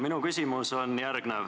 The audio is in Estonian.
Minu küsimus on järgmine.